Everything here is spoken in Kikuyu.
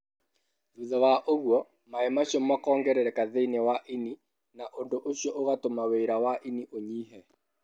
Thutha wa ũguo, maĩ macio makongerereka thĩinĩ wa ini, na ũndũ ũcio ũgatũma wĩra wa ini ũnyihe.